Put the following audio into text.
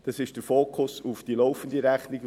Soviel zum Fokus auf die laufende Rechnung.